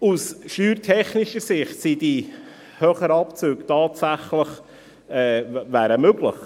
Aus steuertechnischer Sicht wären die höheren Abzüge tatsächlich möglich.